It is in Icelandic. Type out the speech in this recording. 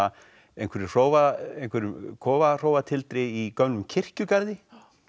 einhverjum einhverjum í gömlum kirkjugarði